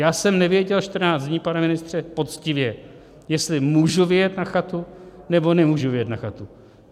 Já jsem nevěděl 14 dní, pane ministře, poctivě, jestli můžu vyjet na chatu, nebo nemůžu vyjet na chatu.